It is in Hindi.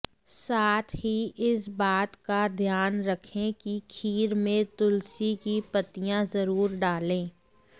साथ ही इस बात का ध्यान रखें कि खीर में तुलसी की पत्तियां जरुर डालें